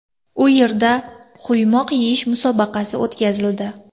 U yerda quymoq yeyish musobaqasi o‘tkazildi.